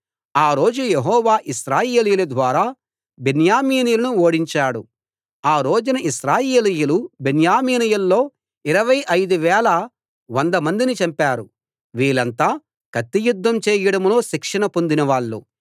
ఆ రోజు యెహోవా ఇశ్రాయేలీయుల ద్వారా బెన్యామీనీయులను ఓడించాడు ఆ రోజున ఇశ్రాయేలీయులు బెన్యామీనీయుల్లో ఇరవై ఐదు వేల వంద మందిని చంపారు వీళ్ళంతా కత్తియుద్ధం చేయడంలో శిక్షణ పొందినవాళ్ళు